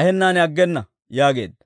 ahennaan aggena» yaageedda.